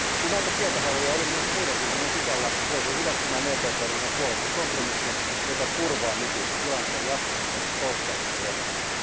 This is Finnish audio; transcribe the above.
Kun näitä kieltohaluja oli myös muiden ryhmien sisällä, jouduin hyväksymään EPP ryhmän puolesta kompromissin, joka turvaa nykyisen tilanteen jatkumisen toistaiseksi ennallaan.